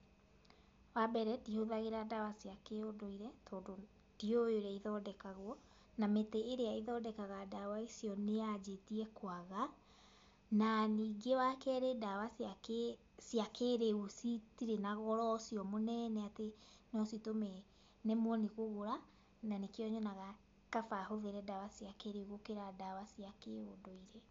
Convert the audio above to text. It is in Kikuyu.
Wa mbere, ndihũthagĩra ndawa cia kĩũndũire tondũ ndiũĩ ũrĩa ithondekagwo, na mĩtĩ ĩrĩa ĩthondekaga ndawa icio nĩ yanjĩtie kwaga, na ningĩ wa kerĩ ndawa cia kĩĩrĩu citirĩ na goro ũcio munene atĩ no citũme nemwo nĩ kũgũra, na nĩkĩo nyonaga kaba hũthĩre ndawa cia kĩĩrĩu gũkĩra ndawa cia kĩndũire.